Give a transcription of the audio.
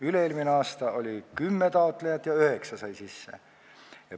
Üle-eelmine aasta oli 10 taotlejat ja 9 said sisse.